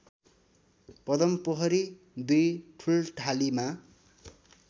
Padampokhari २ ठूल्ठालीमा